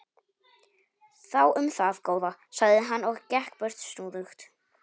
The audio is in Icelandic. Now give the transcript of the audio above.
Þú um það, góða, sagði hann og gekk burt snúðugt.